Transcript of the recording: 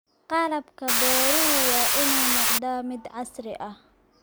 Qalabka beeruhu waa inuu noqdaa mid casri ah.